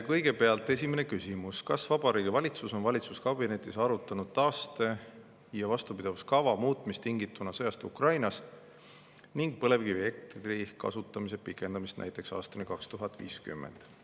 Kõigepealt, esimene küsimus: "Kas Vabariigi Valitsus on valitsuskabinetis arutanud taaste- ja vastupidavuskava muutmist tingituna sõjast Ukrainas ning põlevkivielektri kasutamise pikendamist näiteks aastani 2050?